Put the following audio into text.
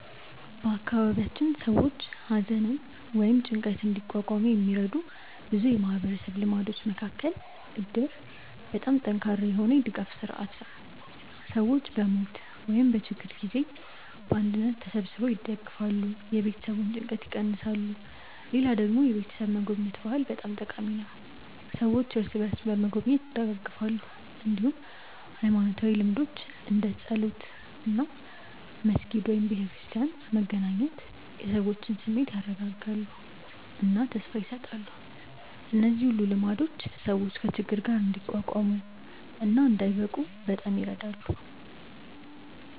በአካባቢያችን ሰዎች ሐዘንን ወይም ጭንቀትን እንዲቋቋሙ የሚረዱ ብዙ የማህበረሰብ ልማዶች መካከል እድር በጣም ጠንካራ የሆነ የድጋፍ ስርዓት ነው፤ ሰዎች በሞት ወይም በችግር ጊዜ በአንድነት ተሰብስበው ይደግፋሉ፣ የቤተሰቡን ጭንቀት ይቀንሳሉ። ሌላ ደግሞ የቤተሰብ መጎብኘት ባህል በጣም ጠቃሚ ነው፤ ሰዎች እርስ በርስ በመጎብኘት ይደጋገፋሉ። እንዲሁም ሃይማኖታዊ ልምዶች እንደ ጸሎት እና መስጊድ/ቤተክርስቲያን መገናኘት የሰዎችን ስሜት ያረጋጋሉ እና ተስፋ ይሰጣሉ። እነዚህ ሁሉ ልማዶች ሰዎች ከችግር ጋር እንዲቋቋሙ እና እንዳይብቁ በጣም ይረዳሉ።